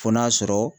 Fo n'a sɔrɔ